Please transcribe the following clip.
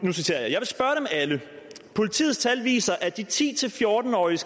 alle politiets tal viser at de ti til fjorten årige